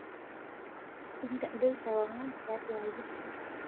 indodoi ewang'an tiatwa aaji